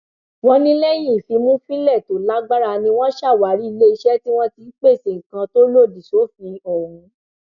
wọn ní lẹyìn ìfìmùfínlẹ tó lágbára ni wọn ṣàwárí iléeṣẹ tí wọn ti ń pèsè nǹkan tó lòdì sófin ọhún